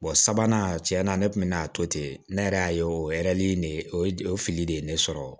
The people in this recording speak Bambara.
sabanan tiɲɛ na ne kun bɛ na to ten ne yɛrɛ y'a ye o de o ye o filili de ye ne sɔrɔ